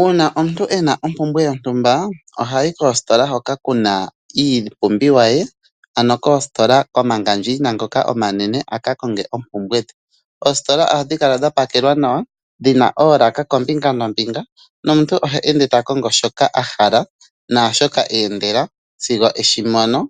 Uuna omuntu ena ompumbwe yontumba ohayi koositola hoka kuna iipumbiwa ye, ano koositola komangandjaina ngoka omanene aka konge oompumbwe dhe . Oositola ohadhi kala dhapakelwa nawa, dhina oolaka kombinga noombinga, nomuntu ohe ende ta kongo shoka ahala, naashoka eendela sigo eshimono